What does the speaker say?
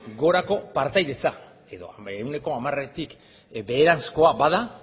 gorako partaidetza edo ehuneko hamaretik beheranzkoa bada